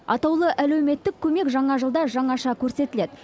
атаулы әлеуметтік көмек жаңа жылда жаңаша көрсетіледі